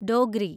Dogri